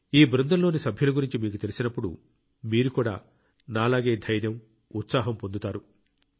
ఈ బృందంలోని సభ్యుల గురించి మీకు తెలిసినప్పుడు మీరు కూడా నాలాగే ధైర్యం ఉత్సాహం పొందుతారు